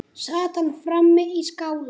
Sat hann frammi í skála.